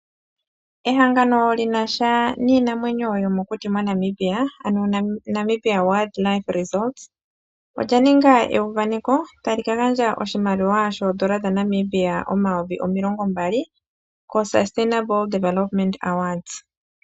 Ehangano lyinasha niinamwenyo yomokuti moNamibia ano Namibia Wildlife Resorts olya ninga euvaneko ta li ka gandja oshimaliwa shoondola dhaNamibia omayovi omilongo mbali ko Sustainable Development Awards.